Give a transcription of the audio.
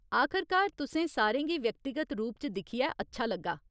आखरकार तुसें सारें गी व्यक्तिगत रूप च दिक्खियै अच्छा लग्गा ।